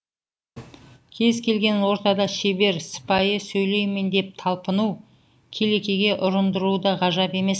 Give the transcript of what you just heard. кез келген ортада шебер сыпайы сөйлеймін деп талпыну келекеге ұрындыруы да ғажап емес